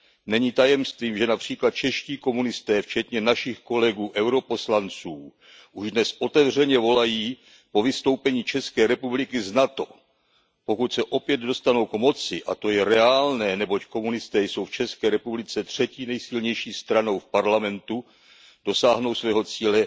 Není tajemstvím, že například čeští komunisté včetně našich kolegů europoslanců už dnes otevřeně volají po vystoupení České republiky z NATO. Pokud se opět dostanou k moci, a to je reálné, neboť komunisté jsou v České republice třetí nejsilnější stranou v parlamentu, dosáhnou svého cíle